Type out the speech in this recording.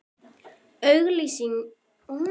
Auglýsingin kom mér til þess, að rita greinarstúf þennan.